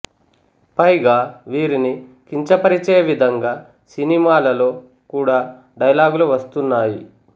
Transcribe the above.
పైగా వీరిని కించపరిచే విధంగా సినిమాలలో కూడా డైలాగులు వస్తున్నాయి